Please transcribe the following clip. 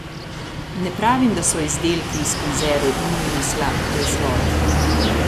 Ne pravim, da so izdelki iz konzerv nujno slab proizvod.